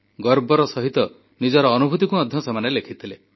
ଗର୍ବର ସହିତ ନିଜର ଅନୁଭୂତିକୁ ମଧ୍ୟ ସେମାନେ ଲେଖିଥିଲେ